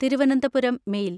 Thiruvananthapuram mail